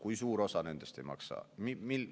Kui suur osa nendest ei maksa?